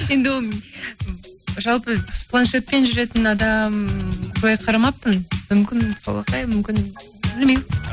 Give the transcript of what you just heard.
енді ол жалпы планшетпен жүретін адам былай қарамаппын мүмкін солақай мүмкін білмеймін